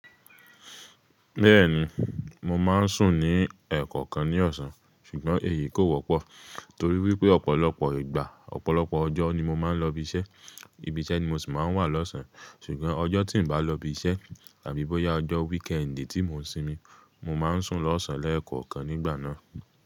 Bẹ́ẹ̀ni, mo má n sùn ní ẹ̀ kọ̀kan ní ọ̀sán, ṣùgbọ́n èyí kò wọ́pọ̀ torí wípé ọ̀pọ̀lọpọ̀ ìgbà, ọ̀pọ̀lọpọ̀ ọjọ́ ni mo má n lọ ibi iṣẹ́, ibi iṣẹ́ ni mo sì má n wà l'ọ̀sán. Ṣùgbọ́n ọjọ́ tí n bá lọ ibi iṣẹ́ tàbí bó yá ọjọ́ weekend tí mò n sinmi, mo má n sùn lọ́ọ̀sán lẹ́ẹ̀kọ̀kan nígbà náà.